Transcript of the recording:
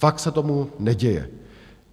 Fakt se tak neděje.